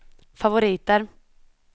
favoriter